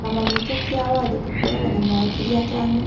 kĩama gitũ kĩa watho tũkoragwo na mawakiri atano